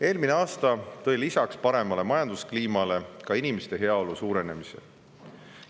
Eelmine aasta tõi lisaks paremale majanduskliimale inimeste heaolu suurenemise.